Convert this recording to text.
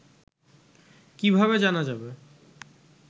কিভাবে জানা যাবে